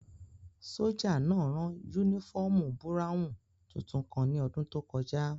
Sójà náà rán yúnífọ́ọ̀mù búráwùn tuntun kan ní ọdún tó kọjá